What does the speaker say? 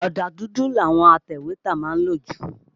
Ọ̀dà dùdù làwọn atẹ̀wétà má ń lò jù.